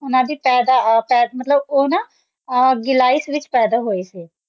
ਓਆਨਾ ਦੀ ਪੈਦਾ ਮਤਲਬ ਊ ਨਾ ਜੈਲਾਇਸ਼ ਵਿਚ ਪੈਦਾ ਹੋਈ ਸੀ